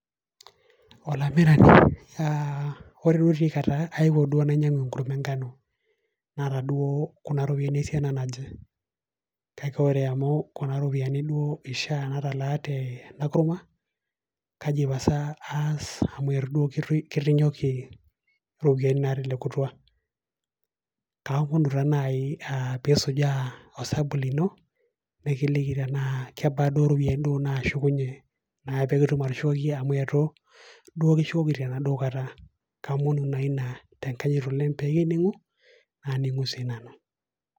olamirani, ore duo oshi etaa kayewuo nainyiang'u enkurma enkano, naata duo kuna ropiyiani esiana naje, kake ore amu kuna ropiyiani duo eishaa natalaa teda kurma kaji pasa aas amu eitu duo kirinyoki, iropiyiani naa telekutua, kaaomunu taa naai naaji pee isujaa osabu lino, nikiliki tenaa kebaa duo iropiyiani duo naashukunye, naa pee kitum atushukoki amu eitu duo kishukoki ena duo kata.